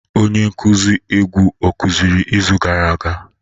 Onye nkuzi egwu ọ kụziri izu gara aga?